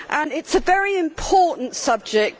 It is a very important subject.